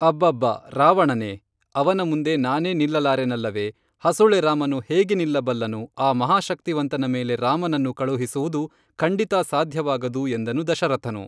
ಅಬ್ಬಬ್ಬಾ ರಾವಣನೇ ಅವನ ಮುಂದೆ ನಾನೇ ನಿಲ್ಲಲಾರೆನಲ್ಲವೇ ಹಸುಳೆ ರಾಮನು ಹೇಗೆ ನಿಲ್ಲಬಲ್ಲನು ಆ ಮಹಾಶಕ್ತಿವಂತನ ಮೇಲೆ ರಾಮನನ್ನು ಕಳುಹಿಸುವುದು ಖಂಡಿತಾ ಸಾಧ್ಯವಾಗದು ಎಂದನು ದಶರಥನು